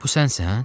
Bu sənsən?